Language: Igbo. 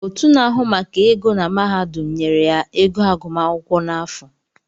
Otu na-ahụ maka ego na mahadum nyere ya ego agụmaakwụkwọ n’afụ